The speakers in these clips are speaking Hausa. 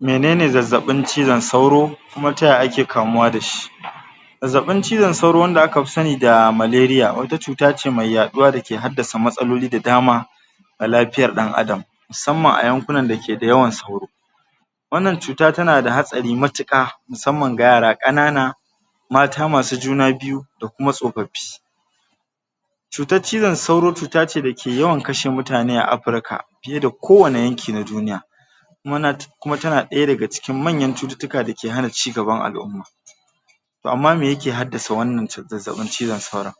Menene zazzaɓin cizon sauro kuma yaya ake kamuwa da shi zazzaɓin cizon sauro wanda aka pi sani da wata cuta ce mai yaɗuwa da ke haddasa matsaloli da dama a lapiyar ɗan adam musamman a yankunan da ke da yawan sauro wannan cuta tana da hatsari matuƙa musamman ga yara ƙanana mata masu juna biyu da kuma tsopappi cutar cizon sauro cuta ce da ke yawan kashe mutane a Apurka piye da ko wani yanki na duniya kuma tana ɗaya daga cikin manyan cututtuka da ke hana cigaban al'umma to amma me ke haddasa wannan cizon sauro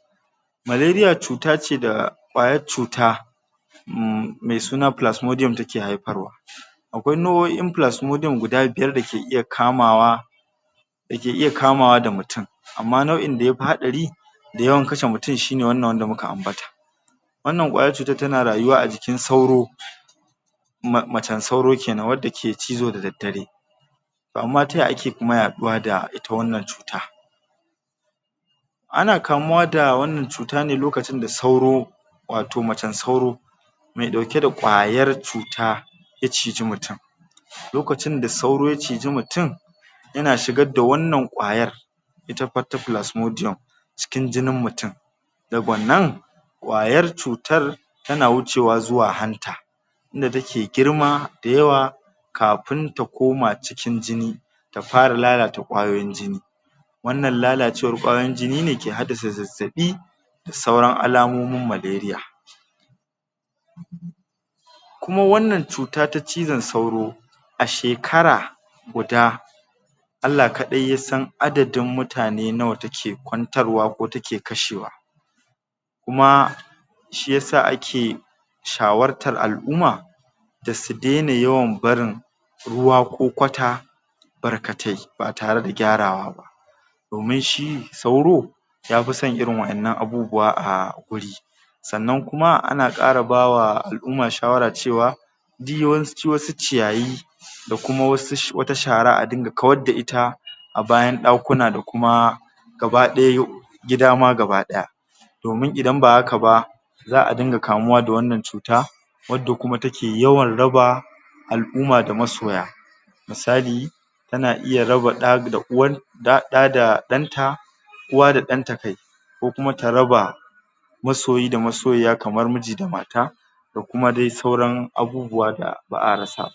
cuta ce da ƙwayar cuta um me suna take haiparwa akwai nau'o'in guda biyar da ke iya kamawa da ke iya kamawa da mutum amma nau'in da ya pi haɗari a yawan kashe mutum shine wannan wanda muka ambata wannan ƙwayar cutar tana rayuwa a jikin sauro macen sauro kenan wadda ke cizo da daddare to amma ta yaya ake kuma yaɗuwa da ita wannan cuta ana kamuwa da wannan cuta ne lokacin da sauro wato macen sauro me ɗauke da ƙwayar cuta ya ciji mutum lokacin da sauro ya ciji mutum yana shigad da wannan ƙwayar cikin jinin mutum da wannan ƙwayar cutar tana wucewa zuwa hanta wanda take girma dayawa kapun ta koma cikin jini ta para lalata ƙwayoyin jini wannan lalacewar ƙwayoyin jini ne ke haddasa zazzaɓi da sauran alamomin kuma wanna n cuta ta cizon sauro a shekara guda\ Allah kaɗai ya san adadin mutane nawa take kwantarwa ko take kashewa kuma shiyasa ake shawartar al'umma da su daina yawan barin ruwa ko kwata barkatai ba tare da gyarawa ba domin shi sauro ya pi son irin waƴannan abubuwa a guri sannan kuma ana ƙara ba wa al'umma shawara cewa wasu ciyayi da kuma wasu wata shara a dinga kawar da ita a bayan ɗakuna da kuma gaba ɗaya gida ma gaba ɗaya domin idan ba haka ba za a dinga kamuwa da wannan cuta wadda kuma take yawan raba al'umma da masoya misali tana iya raba ɗa da uwan da ɗa da ɗanta uwa da ɗan ta kai koma ta raba masoyi da masoyiya kamar miji da mata da kuma dai sauran abubuwa da ba a rasa ba.